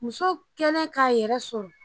Muso kɛlen k'a yɛrɛ sɔrɔ